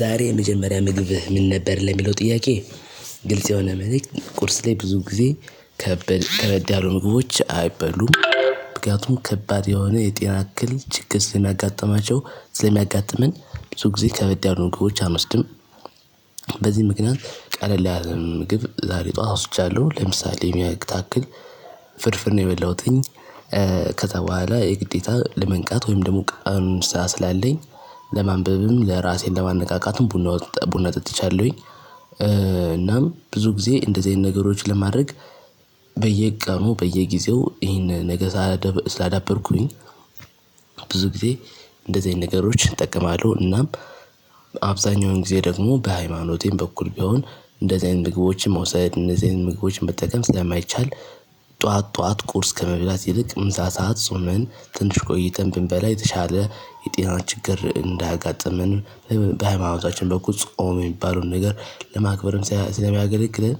ዛሬ የመጀመሪያ ምግብህ ምን ነበር ለሚለው ጥያቄ? ግልጽ የሆነ መልእክት ቁርስ ላይ ብዙ ጊዜ ከበድ ያሉ ምግቦች አይበሉም። ምክንያቱም ከባድ የሆነ የጤና አክል ችግር ለሚያጋጥማቸው ለሚያጋጥመን ብዙ ጊዜ ከበድ ያሉ ምግቦች አንወስድም። በዚህ ምክንያት ቀለል ያለን ምግብ ዛሬ ጠዋት ወስጃለሁ ለምሳሌ የምታክል ፍርፍር ነው የበላሁትኝ። ከዛ በኋላ የግዴታ ለመንቃት ወይም ደግሞ ቀን ስራ ስላለኝ ለማንበብም ለራሴን ለማነቃቃትም ቡና ቡና ጠጥቻለሁኝ። እናም ብዙ ጊዜ እንደዚህ አይነት ነገሮች ለማድረግ በየቀኑ በየጊዜው ይህን ነገ ሳላደብ ስላዳበርኩኝ። ብዙ ጊዜ እንደዚህ አይነት ነገሮች እጠቀማለሁ። እናም አብዛኛውን ጊዜ ደግሞ በሃይማኖቴም በኩል ቢሆን እንደዚህ አይነት ምግቦችም መውሰድ እንደዚህ አይነት ምግቦችም መጠቀም ስለማይቻል። ጠዋት ጠዋት ቁርስ ከመብላት ይልቅ ምሳ ሰዓት ጾምን ትንሽ ቆይተን ብንበላ የተሻለ የጤናን ችግር እንዳያጋጥመን። በሃይማኖታችን በኩል ጾም የሚባለውን ነገር ለማክበርም ስለሚያገለግለን።